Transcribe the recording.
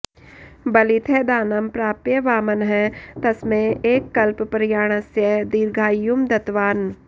बलितः दानं प्राप्य वामनः तस्मै एककल्पप्रयाणस्य दीर्घायुं दत्तवान्